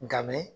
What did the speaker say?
Nkamin